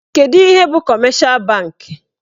Kedụ ihe bụ kọmeshal bankị?